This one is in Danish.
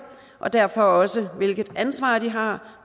og derfor også hvilket ansvar de har